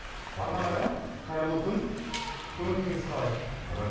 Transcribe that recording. арман аға қайырлы күн көңіл күйіңіз қалай